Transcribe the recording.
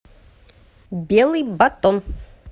белый батон